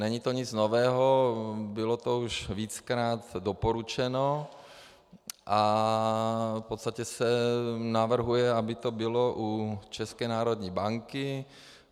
Není to nic nového, bylo to už víckrát doporučeno a v podstatě se navrhuje, aby to bylo u České národní banky.